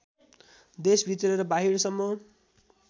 देशभित्र र बाहिरसम्म